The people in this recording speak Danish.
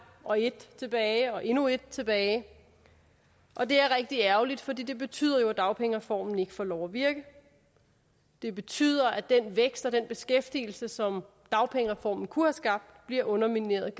og et tilbage og endnu et tilbage og det er rigtig ærgerligt for det betyder jo at dagpengereformen ikke får lov at virke det betyder at den vækst og den beskæftigelse som dagpengereformen kunne have skabt bliver undermineret